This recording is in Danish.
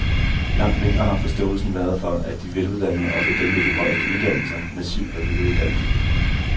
Langt mindre har forståelsen været for, at de veluddannede, også dem med de højeste uddannelser, massivt bør videreuddannes.